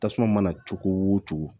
Tasuma mana cogo o cogo